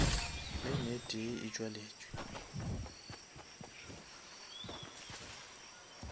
lane e tee e tšwaletše